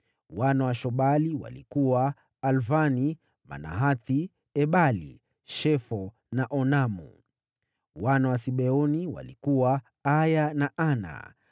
Wana wa Shobali walikuwa: Alvani, Manahathi, Ebali, Shefo na Onamu. Wana wa Sibeoni walikuwa: Aiya na Ana.